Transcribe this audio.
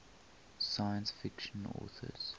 science fiction authors